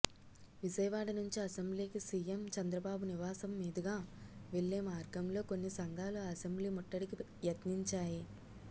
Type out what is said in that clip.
విజయవాడ నుంచి అసెంబ్లీకి సిఎం చంద్రబాబు నివాసం మీదుగా వెళ్లే మార్గంలో కొన్ని సంఘాలు అసెంబ్లీ ముట్టడికి యత్నించాయి